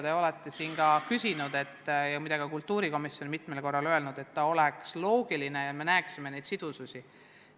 Te olete siin viidanud ja ka kultuurikomisjon on mitmel korral öelnud, et seadused peavad olema loogilised ja me peaksime nende sidusust silmas pidama.